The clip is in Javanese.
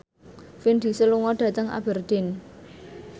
Vin Diesel lunga dhateng Aberdeen